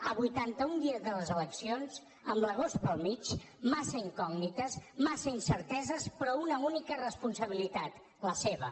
a vuitantaun dies de les eleccions amb l’agost pel mig massa incògnites massa incerteses però una única responsabilitat la seva